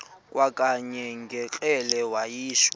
kwakanye ngekrele wayishu